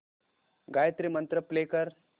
Gayatri mantra play कर